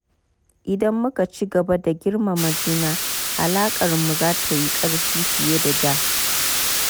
Idan muka ci gaba da girmama juna, alaƙarmu za ta yi ƙarfi fiye da da.